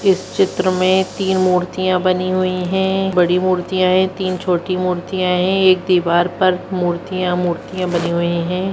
इस चित्र में तीन मूर्तियां बनी हुई है बड़ी मूर्तियां है तीन छोटी मूर्तियां हैं एक दीवार पर मूर्तियां मूर्तियां बनी हुई हैं।